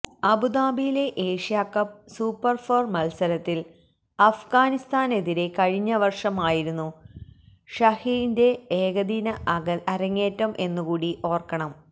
അബുദാബിയില് Asia Cup super four മത്സരത്തില് അഫ്ഗാനിസ്താനെതിരെ കഴിഞ്ഞ വര്ഷം ആയിരുന്നു ഷഹീന്റെ ഏകദിന അരങ്ങേറ്റം എന്നുകൂടി ഓര്ക്കണം